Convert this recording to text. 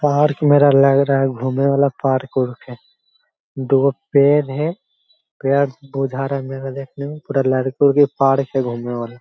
park मेला लग रहा है घूमे वाला पार्क उरक है बहुत पेर है प्या बोझा रहा है मेला देखने में पूरा लड़की-उड़की पार्क है घूमने वाला --